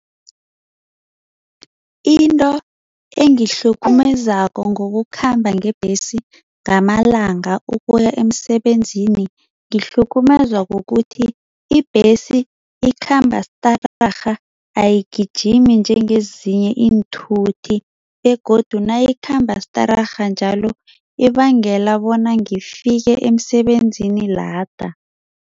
Into engihlukumezako ngokukhamba ngebhesi ngamalanga ukuya emsebenzini, kuhlukumezwa kukuthi ibhesi ikhamba stararha, ayigijimi njengezinye iinthuthi begodu nayikhamba stararha njalo ibangela bona ngifike emsebenzini lada.